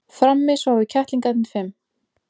Frammi sváfu kettlingarnir fimm.